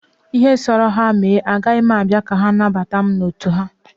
Ihe ọ sọrọ ha mee, agaghị m abịa ka ha nabata mụ n'otu ha.